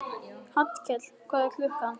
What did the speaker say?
Hallkell, hvað er klukkan?